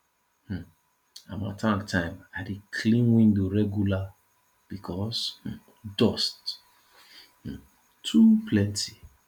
um harmattan time i dey clean window regular because um dust um too plenty